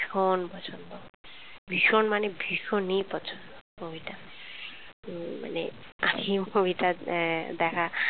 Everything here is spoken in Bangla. ভীষণ পছন্দ ভীষণ মানে ভীষণই পছন্দ movie টা উম মানে movie দ্যা দেখা